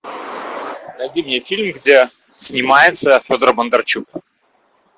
найди мне фильм где снимается федор бондарчук